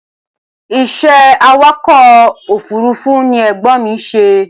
Ìṣe awàkọ̀ òfúrúfú ni Ẹ̀gbọ́n mi ṣe.